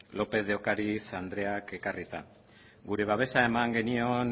lópez de ocariz andreak ekarrita gure babesa eman genion